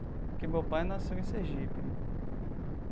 Que meu pai nasceu em Sergipe, né?